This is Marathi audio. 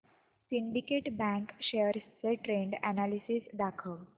सिंडीकेट बँक शेअर्स चे ट्रेंड अनॅलिसिस दाखव